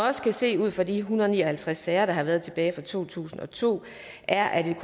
også kan se ud fra de en hundrede og ni og halvtreds sager der har været tilbage fra to tusind og to er at et